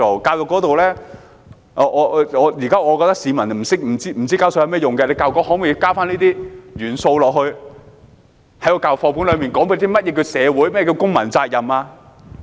教育方面，我覺得現時市民不明白繳稅的作用，教育局可否在課本內加入這些元素，講解何謂社會、何謂公民責任？